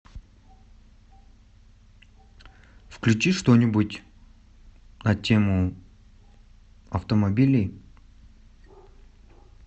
включи что нибудь на тему автомобилей